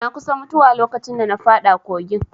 Na kusa mutuwa lokacin da na faɗa kogin